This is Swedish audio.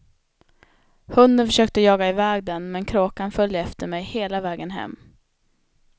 Hunden försökte jaga iväg den, men kråkan följde efter mig hela vägen hem.